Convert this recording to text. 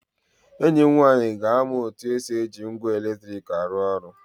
Enyi m nwaanyị ga-amụ otu esi eji ngwa eletrik arụ ọrụ